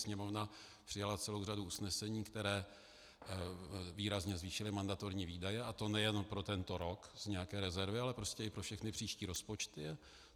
Sněmovna přijala celou řadu usnesení, která výrazně zvýšila mandatorní výdaje, a to nejen pro tento rok z nějaké rezervy, ale prostě i pro všechny příští rozpočty.